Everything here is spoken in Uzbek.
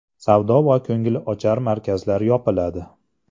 Savdo va ko‘ngilochar markazlar yopiladi.